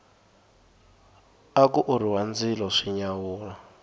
aku orhiwa ndzilo swi nyawula